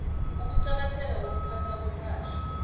ukuqakatheka kokuphathwa kwepahla